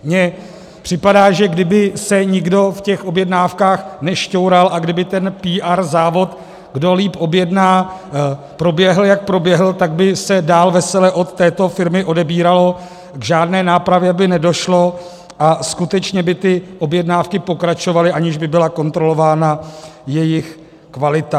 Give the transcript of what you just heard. Mně připadá, že kdyby se nikdo v těch objednávkách nešťoural a kdyby ten PR závod, kdo líp objedná, proběhl, jak proběhl, tak by se dál vesele od této firmy odebíralo, k žádné nápravě by nedošlo a skutečně by ty objednávky pokračovaly, aniž by byla kontrolována jejich kvalita.